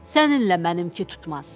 Səninlə mənimki tutmaz.